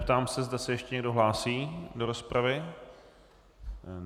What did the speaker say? Ptám se, zda se ještě někdo hlásí do rozpravy.